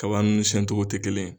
Kaban ninnu siɲɛcogo tɛ kelen ye